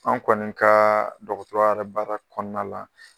An kɔni kaa dɔgɔtɔrɔya yɛrɛ baara kɔɔna la